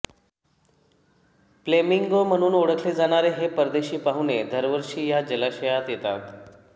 flamingo म्हणून ओळखले जाणारे हे परदेशी पाहुणे दरवर्षी या जलाशयात येतात